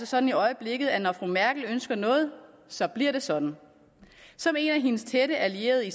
sådan i øjeblikket at når fru merkel ønsker noget så bliver det sådan som en af hendes tætte allierede i